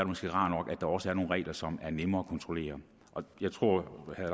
måske rart at der også er nogle regler som er nemme at kontrollere jeg tror at